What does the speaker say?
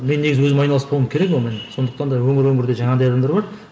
мен негізі өзім айналыспауым керек онымен сондықтан да өңір өңірде жаңағыдай адамдар бар